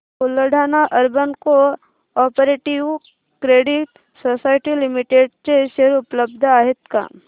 Buldhana urban cooperative credit society limited चे share उपलब्ध आहेत का